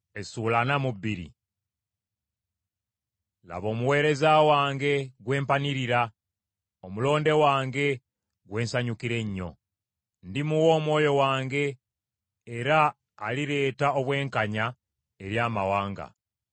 Laba omuweereza wange gwe mpanirira, omulonde wange gwe nsanyukira ennyo. Ndimuwa Omwoyo wange era alireeta obwenkanya eri amawanga.